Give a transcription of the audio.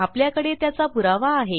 आपल्याकडे त्याचा पुरावा आहे